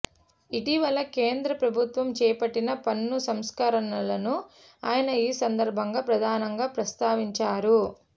ఇటీవల కేంద్ర ప్రభుత్వం చేపట్టిన పన్ను సంస్కరణలను ఆయన ఈ సందర్భంగా ప్రధానంగా ప్రస్తావించారు